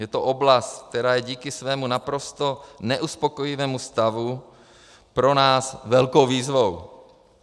Je to oblast, která je díky svému naprosto neuspokojivému stavu pro nás velkou výzvou.